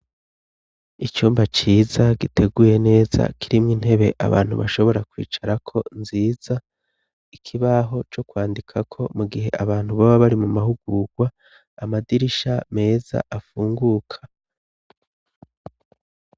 Icumba ciza giteguye neza, kirimwo intebe abantu bashobora kwicarako nziza. Ikibaho co kwandikako mu gihe abantu baba bari mu mahugurwa. Amadirisha meza afunguka.